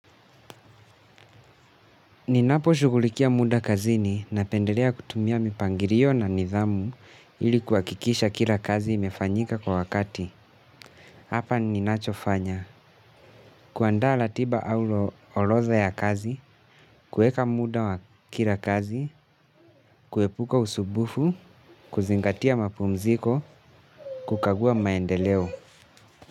Ninaposhugulikia muda kazini napendelea kutumia mipangilio na nidhamu ili kuhakikisha kila kazi imefanyika kwa wakati. Hapa ninachofanya. Kuandaa ratiba au orodha ya kazi, kueka muda wa kila kazi, kuepuka usumbufu, kuzingatia mapumziko, kukagua maendeleo.